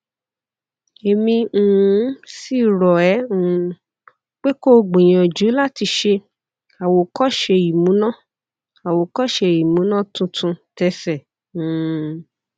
èmi um sì rò é um pé kó o gbìyànjú láti ṣe àwòkóṣe ìmúná àwòkóṣe ìmúná tuntun tese um